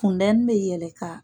Fundɛni bɛ yɛlɛ ka